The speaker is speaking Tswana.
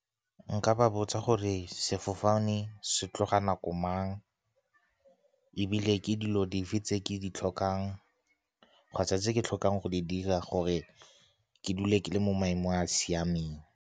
Nka ba botsa gore sefofane se tloga nako mang, ebile ke dilo dife tse ke di tlhokang kgotsa tse ke tlhokang go di dira gore ke dule ke le mo maemong a a siameng.